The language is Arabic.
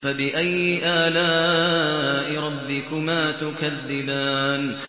فَبِأَيِّ آلَاءِ رَبِّكُمَا تُكَذِّبَانِ